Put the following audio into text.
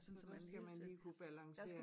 Så der skal man lige kunne balancere